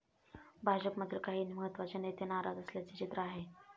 भाजपमधील काही महत्त्वाचे नेते नाराज असल्याचे चित्र आहे.